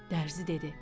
Dərzi dedi: